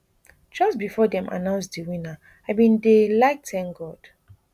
just bifor dem announce di winner i bin dey like tank god